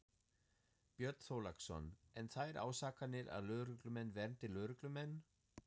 Björn Þorláksson: En þær ásakanir að lögreglumenn verndi lögreglumenn?